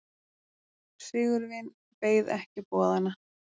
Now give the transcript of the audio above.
Sigurvin beið ekki boðanna.